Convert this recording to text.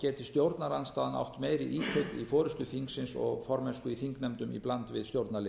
geti stjórnarandstaðan átt meiri ítök í forustu þingsins og formennsku í þingnefndum í bland við stjórnarliða